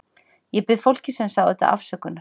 Ég bið fólkið sem sá þetta afsökunar.